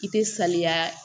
I tɛ saniya